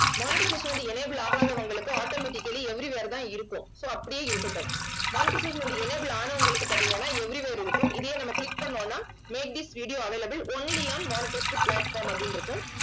monetisation வந்து enable ஆகாதவங்களுக்கு automatically everywhere தான் இருக்கும் so அப்படியே இருக்கட்டும் monetisation வந்து enable ஆனவங்களுக்கு பாத்தீங்கன்னா everywhere இருக்கும். இதையே நம்ம click பண்ணோம்னா made this video available only on monetized platform அப்படின்னு இருக்கும்